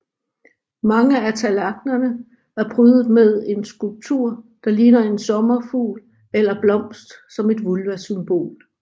Mange af tallerknerne er prydet med en skulptur der ligner en sommerfugl eller blomst som et vulvasymbol